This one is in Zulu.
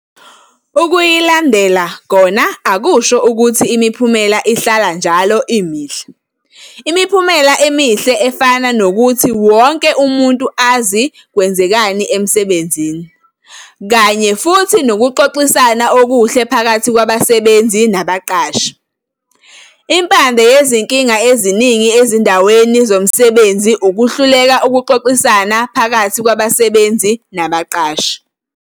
Ukuyilandela kona akusho ukuthi imiphumela ihlala njalo imihle. Imiphumela emihle efana nokuthi wonke umuntu azi ukuthi kwenzekani emsebenzini, kanye futhi nokuxoxisana okuhle phakathi kwabasebenzi nabaqashi. Impande yezinkinga eziningi ezindaweni zomsebenzi ukuhluleka ukuxoxisana pahakathi kwabasebenzi nabaqashi.